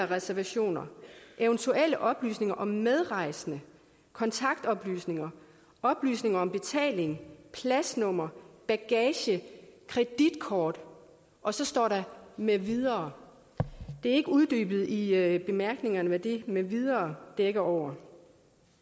reservationer eventuelle oplysninger om medrejsende kontaktoplysninger oplysninger om betaling pladsnummer bagage kreditkort og så står der med videre det er ikke uddybet i bemærkningerne hvad det med videre dækker over